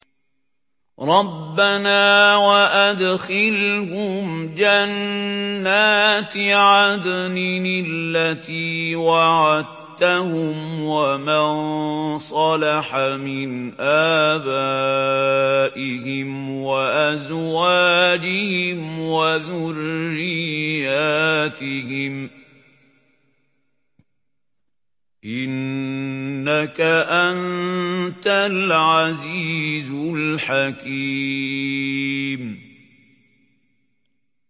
رَبَّنَا وَأَدْخِلْهُمْ جَنَّاتِ عَدْنٍ الَّتِي وَعَدتَّهُمْ وَمَن صَلَحَ مِنْ آبَائِهِمْ وَأَزْوَاجِهِمْ وَذُرِّيَّاتِهِمْ ۚ إِنَّكَ أَنتَ الْعَزِيزُ الْحَكِيمُ